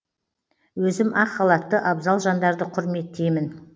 өзім ақ халатты абзал жандарды құрметтеймін